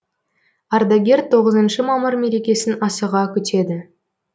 ардегер тоғызыншы мамыр мерекесін асыға күтеді